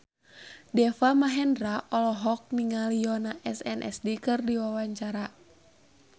Deva Mahendra olohok ningali Yoona SNSD keur diwawancara